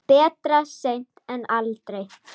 Betra seint en aldrei.